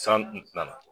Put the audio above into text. San n tɛna